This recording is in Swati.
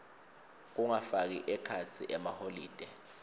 kungafaki ekhatsi emaholide